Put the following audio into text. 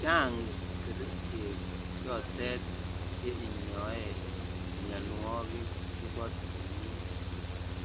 Chang kerichek chotet cheinyoe mianwogik chebo timin,